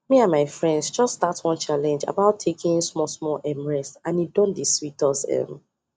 me and my friends just start one challenge about taking smallsmall um rest and e don dey sweet us um